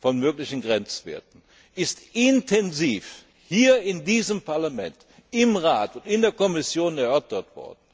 von möglichen Grenzwerten ist intensiv hier in diesem Parlament, im Rat und in der Kommission erörtert worden.